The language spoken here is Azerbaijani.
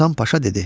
Hasan Paşa dedi: